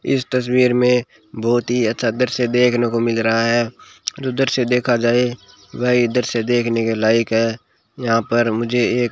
इस तस्वीर में बहुत ही अच्छा दृश्य देखने को मिल रहा है उधर से देखा जाए व इधर से देखने के लायक है यहां पर मुझे एक --